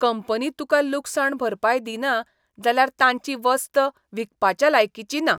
Company तुका लुकसाण भरपाय दिना जाल्यार तांची वस्त विकपाच्या लायकीची ना.